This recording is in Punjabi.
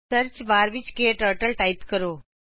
ਸਰਚ ਬਾਰ ਵਿਚ ਕਟਰਟਲ ਟਾਇਪ ਕਰੋ